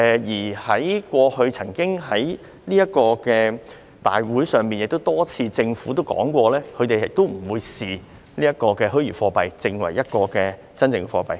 在過去的立法會會議上，政府亦曾多次提到他們不會視虛擬貨幣為真正貨幣......